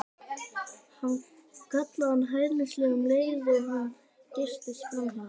kallaði hann hæðnislega um leið og hann geystist framhjá þeim.